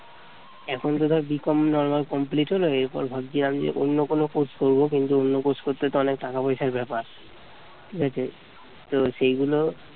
এখন তো ধর BCOMnormal complete হল এরপর ভাবছি আমি অন্য কোন course করব কিন্তু অন্য course করতে তো অনেক টাকা পয়সার ব্যাপার ঠিক আছে তো সেই গুলো